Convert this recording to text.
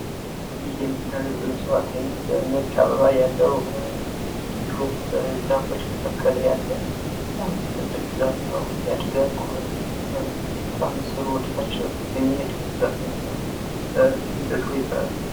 ይህ የምታዩት የእጽዋት አይነት ነጭ አበባ ያለው እንድሁም ዛፎች መካከል ያለ በጣም ትልቅ ዛፍ ነው ያድጋል ቁመቱ በጣም ስሩ ወደታች የሚሄድ የዛፍ አይነት ነው። ደድሆ ይባላል።